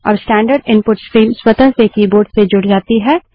अब standard input stream स्वतः से कीबोर्ड से जुड़ जाती है